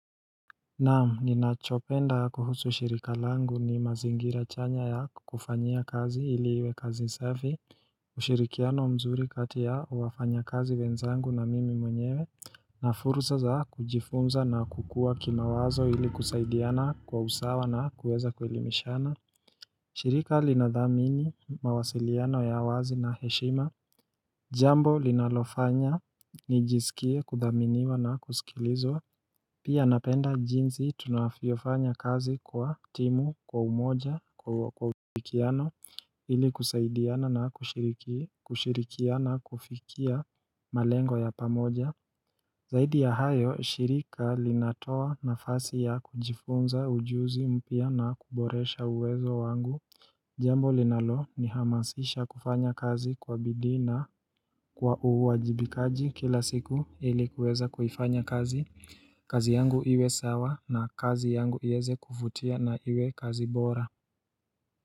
Naam ninachopenda kuhusu shirika langu ni mazingira chanya ya kukufanyia kazi ili iwe kazi safi ushirikiano mzuri kati ya wafanyakazi wenzangu na mimi mwenyewe na fursa za kujifunza na kukuwa kimawazo ili kusaidiana kwa usawa na kuweza kuelimishana shirika linathamini mawasiliano ya wazi na heshima Jambo linalofanya nijisikie kuthaminiwa na kusikilizwa Pia napenda jinsi tunafiofanya kazi kwa timu kwa umoja kwa kwa ufikiano ili kusaidiana na kushiriki kushirikiana kufikia malengo ya pamoja Zaidi ya hayo, shirika linatoa nafasi ya kujifunza ujuzi mpya na kuboresha uwezo wangu Jambo linalonihamasisha kufanya kazi kwa bidii na kwa uwajibikaji kila siku ili kuweza kuifanya kazi, kazi yangu iwe sawa na kazi yangu ieze kuvutia na iwe kazi bora.